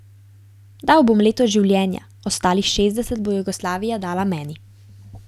Dal bom leto življenja, ostalih šestdeset bo Jugoslavija dala meni.